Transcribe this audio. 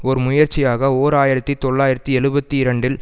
ஒரு முயற்சியாக ஓர் ஆயிரத்தி தொள்ளாயிரத்தி எழுபத்தி இரண்டில்